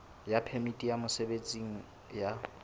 ya phemiti ya mosebetsi ya